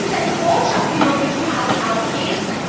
Es ist eine Botschaft, die von diesem Haus ausgeht.